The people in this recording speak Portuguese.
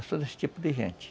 Eu sou desse tipo de gente.